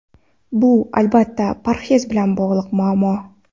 Bu, albatta, parhez bilan bog‘liq muammo.